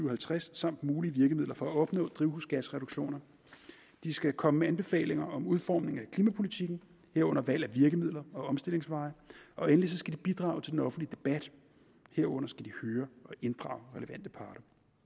og halvtreds samt mulige virkemidler for at opnå drivhusgasreduktioner det skal komme med anbefalinger om udformning af klimapolitikken herunder valg af virkemidler og omstillingsveje og endelig skal det bidrage til den offentlige debat herunder høre og inddrage relevante parter